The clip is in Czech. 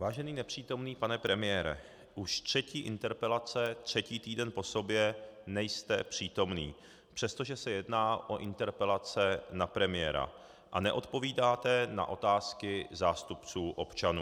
Vážený nepřítomný pane premiére, už třetí interpelace třetí týden po sobě nejste přítomen, přestože se jedná o interpelace na premiéra, a neodpovídáte na otázky zástupců občanů.